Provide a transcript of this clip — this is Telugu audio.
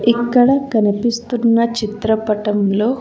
ఇక్కడ కనిపిస్తున్న చిత్రపటంలో.